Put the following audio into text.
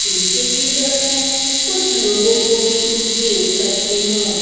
पीछे की तरफ मैं कुछ लोगों को भी देख सकती हु।